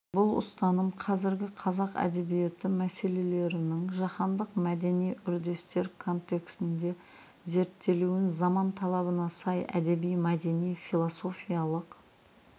бұл ұстаным қазіргі қазақ әдебиеті мәселелерінің жаһандық мәдени үрдістер контексінде зерттелуін заман талабына сай әдеби-мәдени философиялық